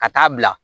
Ka taa bila